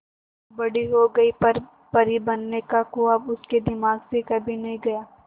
मीनू बड़ी हो गई पर परी बनने का ख्वाब उसके दिमाग से कभी नहीं गया